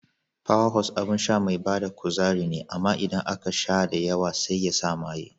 Power Horse abin sha mai bada kuzari ne amma idan aka sha da yawa sai yasa maye.